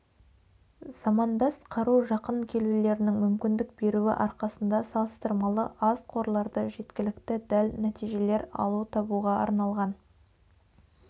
замандас қару жақын келулерінің мүмкіндік беруі арқасында салыстырмалы аз қорларды жеткілікті дәл нәтижелер алу табуға арналған